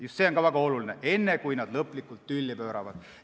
Just see on väga oluline: enne kui lõplikult tülli pööratakse.